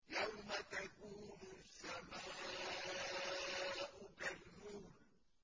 يَوْمَ تَكُونُ السَّمَاءُ كَالْمُهْلِ